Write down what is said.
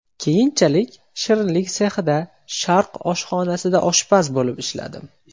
Keyinchalik shirinlik sexida, Sharq oshxonasida oshpaz bo‘lib ishladim.